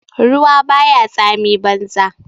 Ruwa ba ya tsami banza.